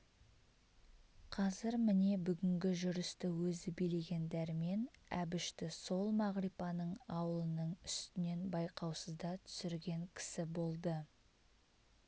қазір міне бүгінгі жүрісті өзі билеген дәрмен әбішті сол мағрипаның аулының үстінен байқаусызда түсірген кісі болды